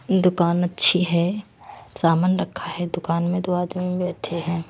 दुकान अच्छी है सामान रखा है दुकान में दो आदमी बैठे है।